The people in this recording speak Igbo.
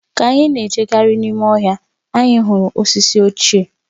Ka anyị na-ejegharị n’ime ọhịa, anyị hụrụ osisi ochie